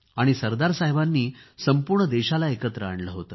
सरदारसाहेबांनी संपूर्ण देशाला एकत्र आणले होते